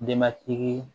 Denbatigi